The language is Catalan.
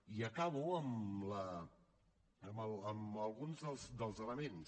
i acabo amb alguns dels elements